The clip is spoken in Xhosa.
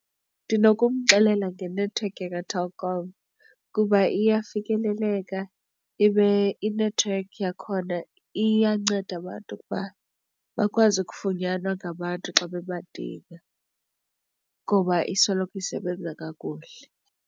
Ndinokumxelela ngenethiwekhi yakaTelkom kuba iyafikeleleka ibe inethiwekhi yakhona iyanceda abantu ukuba bakwazi ukufunyanwa ngabantu xa bebadinga ngoba isoloko isebenza kakuhle.